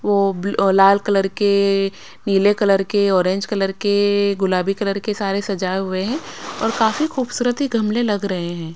वो ब ओ लाल कलर के नीले कलर के ऑरेंज कलर के गुलाबी कलर के सारे सजाए हुए हैं और काफी खूबसूरती गमले लग रहे हैं।